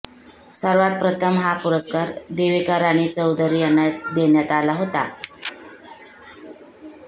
सर्वांत प्रथम हा पुरस्कार देविका राणी चौधरी यांना देण्यात आला होता